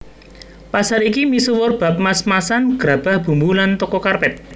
Pasar iki misuwur bab mas masan grabah bumbu lan toko karpet